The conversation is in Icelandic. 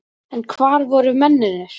En hvar voru mennirnir?